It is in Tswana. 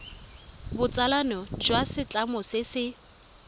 botsalano jwa setlamo se se